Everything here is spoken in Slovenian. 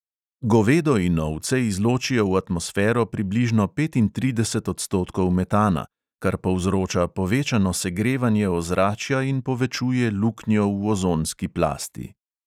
Govedo in ovce izločijo v atmosfero približno petintrideset odstkotkov metana, kar povzroča povečano segrevanje ozračja in povečuje luknjo v ozonski plasti.